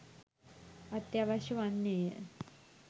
අත්‍යවශ්‍ය වන්නේය